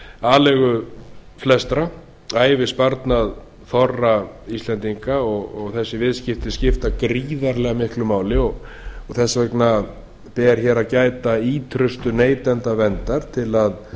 aleigu flestra ævisparnað þorra íslendinga og þessi viðskipti skipta gríðarlega miklu máli og þess vegna ber hér að gæta ýtrustu neytendaverndar til að